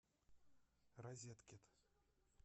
розеткед